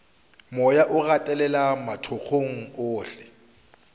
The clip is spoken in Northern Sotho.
moya o gatelela mathokong ohle